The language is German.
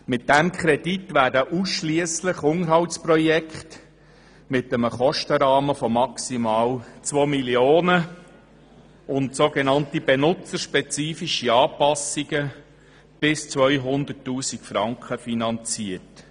Mit diesem Kredit werden ausschliesslich Unterhaltsprojekte mit einem Kostenrahmen von maximal 2 Mio. Franken und so genannte benutzerspezifische Anpassungen bis 200 000 Franken finanziert.